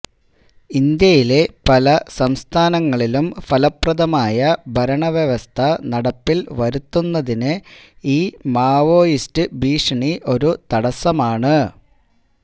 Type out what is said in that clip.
ഇന്ത്യയിലെ പല സംസ്ഥാനങ്ങളിലും ഫലപ്രദമായ ഭരണവ്യവസ്ഥ നടപ്പിൽ വരുത്തുന്നതിന് ഈ മാവോയിസ്റ്റ് ഭീഷണി ഒരു തടസ്സമാണ്